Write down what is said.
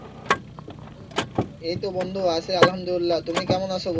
এইতো বন্ধু আছি আলহামদুলিল্লাহ্‌ তুমি কেমন আছো?